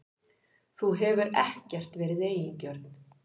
Þú hefur ekkert verið eigingjörn.